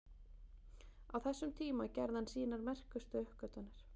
Á þessum tíma gerði hann sínar merkustu uppgötvanir.